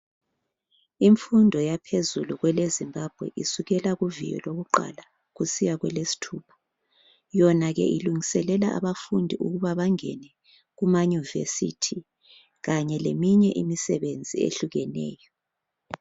Imfundo yaphezulu kweleZimbabwe isukela kuviyo lokuqala isiya kwelesithupha yona ke ilungiselela abafundi ukuthi bangene kumaYunivesithi kanye leminye imisebenzi eyehlukeneyo.